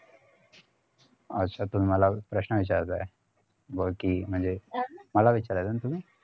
अच्छा तर मला प्रश्न विचारताय बाकी म्हणजे अं मला विचारताय ना तुम्ही